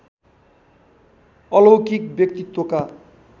अलौकिक व्यक्तित्वका